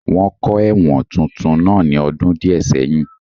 Wọ́n kọ́ ẹ̀wọ̀n tuntun náà ní ọdún díẹ̀ sẹ́yìn